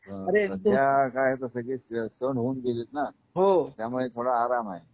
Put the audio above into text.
अरे ते सध्या काय आता सगळे सण होऊन गेलेत ना हो त्यामुळे थोडा आराम आहे.